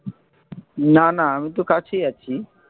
না না আমি তো কাছেই।